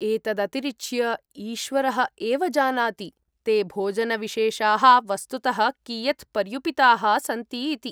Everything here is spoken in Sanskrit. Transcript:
एतदतिरिच्य, ईश्वरः एव जानाति ते भोजनविशेषाः वस्तुतः कियत् पर्युपिताः सन्ति इति।